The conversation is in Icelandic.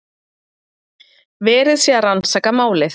Verið sé að rannsaka málið